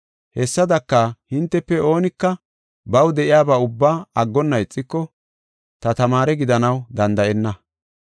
Hessadaka, hintefe oonika baw de7iyaba ubba aggonna ixiko, ta tamaare gidanaw danda7enna.